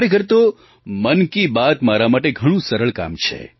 ખરેખર તો મન કી બાત મારા માટે ઘણું સરળ કામ છે